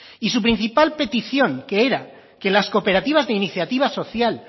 y su principal petición que era que las cooperativas de iniciativa social